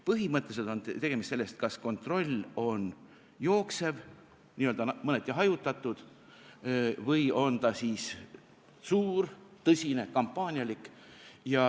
Põhimõtteliselt on küsimus selles, kas kontroll on jooksev, n-ö mõneti hajutatud, või on ta siis suur, tõsine, kampaanialik.